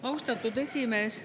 Austatud esimees!